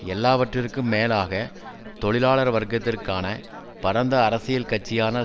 எல்லாவற்றிற்கும் மேலாக தொழிலாளர் வர்க்கத்திற்கான பரந்த அரசியல் கட்சியாக